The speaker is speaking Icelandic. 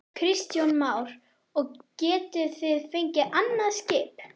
Kristján Már: Og getið þið fengið annað skip?